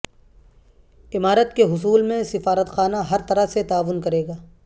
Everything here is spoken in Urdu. عمارت کے حصول میں سفارتخانہ ہر طرح سے تعاون کریگا